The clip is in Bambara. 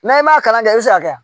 N'an m'a kalan kɛ i bɛ se ka kɛ